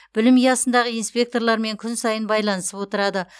білім ұясындағы инспекторлармен күн сайын байланысып отырады